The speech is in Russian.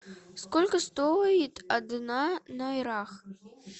сколько стоит одна найра